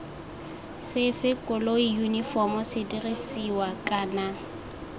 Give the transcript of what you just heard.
sefe koloi yunifomo sedirisiwa kana